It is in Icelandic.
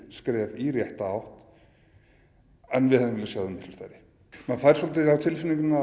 skref í rétta átt en við hefðum viljað sjá þau miklu stærri maður fær á tilfinninguna